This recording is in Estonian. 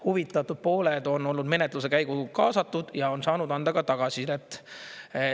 Huvitatud pooled on olnud menetluse käiku kaasatud ja on saanud anda ka tagasisidet.